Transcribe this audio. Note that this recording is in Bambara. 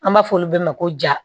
An b'a fɔ olu bɛɛ ma ko ja